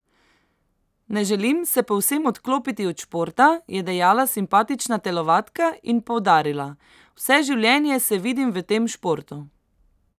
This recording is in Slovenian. Ne želim se povsem odklopiti od športa,' je dejala simpatična telovadka in poudarila: 'Vse življenje se vidim v tem športu.